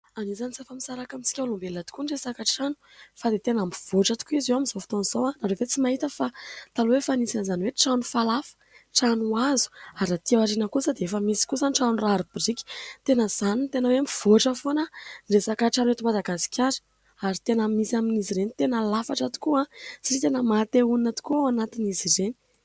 Anisany tsy afa-misaraka amintsika olombelona tokoa ny resaka trano fa dia tena mivoatra tokoa izy eo amin'izao fotoan'izao. Ianareo ve efa tsy mahita fa taloha efa nisy an'izany hoe trano falafa, trano hazo ary raha aty aoriana kosa dia efa misy kosa ny trano rari-biriky tena izany ny tena hoe mivoatra foana ny resaka trano eto Madagasikara ary tena misy amin'izy ireny tena lafatra tokoa satria tena maha te honina tokoa ao anatin'izy ireny ?